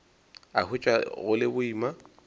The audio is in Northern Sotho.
a hwetša go le boima